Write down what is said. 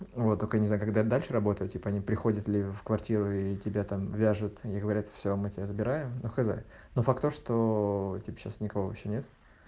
а вот только не знаю когда дальше работать типа не приходит ли в квартиру и тебя там вяжут и говорят все мы тебя забираем но хз но факт то что типа никого сейчас нет